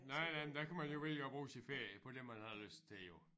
Nej nej men der kan man jo vælge at bruge sin ferie på det man har lyst til jo